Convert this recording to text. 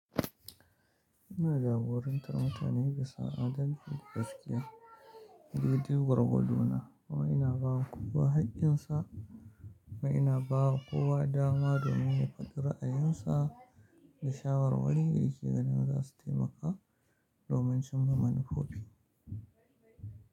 Ina jagorantar mutane bisa adalci gaskiya, dai dai gwargwadona, mai ina bawa kuwa haƙƙinsa kuma ina bawa kuwa dama domin ya fadi ra'ayinsa da shawarwari da yake ganin za su taimaka domin cimma manufofi.